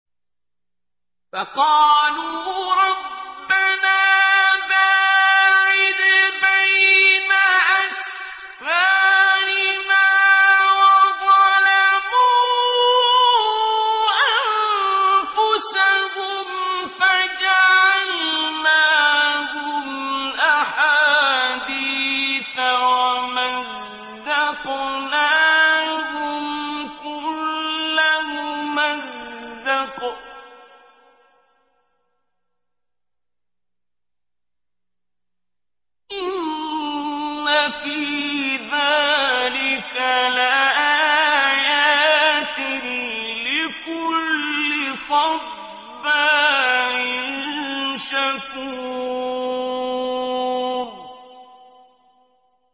فَقَالُوا رَبَّنَا بَاعِدْ بَيْنَ أَسْفَارِنَا وَظَلَمُوا أَنفُسَهُمْ فَجَعَلْنَاهُمْ أَحَادِيثَ وَمَزَّقْنَاهُمْ كُلَّ مُمَزَّقٍ ۚ إِنَّ فِي ذَٰلِكَ لَآيَاتٍ لِّكُلِّ صَبَّارٍ شَكُورٍ